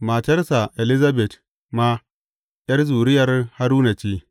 Matarsa Elizabet ma ’yar zuriyar Haruna ce.